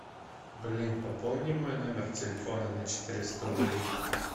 блин пополни мой номер телефона на четыреста рублей